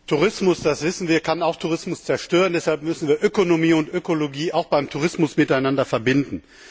Herr Präsident! Tourismus, das wissen wir, kann auch Tourismus zerstören. Deshalb müssen wir Ökonomie und Ökologie auch beim Tourismus miteinander verbinden.